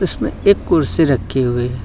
इसमें एक कुर्सी रखी हुई--